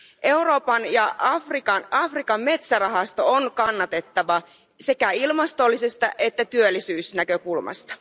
Euroopan ja Afrikan metsärahasto on kannatettava sekä ilmastollisesta että työllisyysnäkökulmasta.